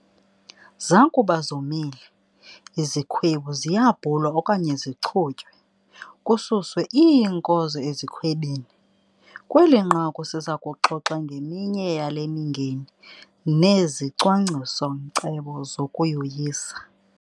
Zakuba zomile, izikhwebu ziyabhulwa okanye zichutywe, kususwe iinkozo ezikhwebini. Kweli nqaku siza kuxoxa ngeminye yale mingeni nezicwangciso-nkcebo zokuyoyisa.